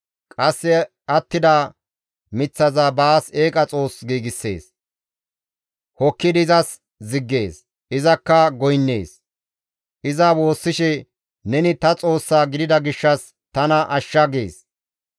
Qasse attida miththaza baas eeqa xoos giigssees; hokkidi izas ziggees; izakka goynnees; iza woossishe, «Neni ta xoossaa gidida gishshas tana ashsha» gees.